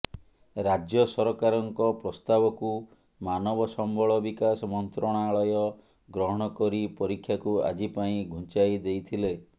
ରାଜ୍ୟ ସରକାରଙ୍କ ପ୍ରସ୍ତାବକୁ ମାନବ ସମ୍ବଳ ବିକାଶ ମନ୍ତ୍ରଣାଳୟ ଗ୍ରହଣ କରି ପରୀକ୍ଷାକୁ ଆଜି ପାଇଁ ଘୁଞ୍ଚାଇ ଦେଇଥିଲେ